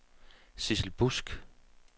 Sidsel Busk